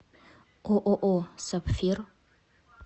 ооо сапфир